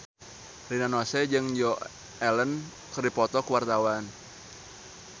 Rina Nose jeung Joan Allen keur dipoto ku wartawan